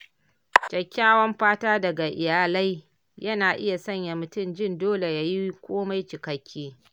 kyakkyawan fata daga iyalai, yana iya sanya mutum jin dole yayi komai cikakke.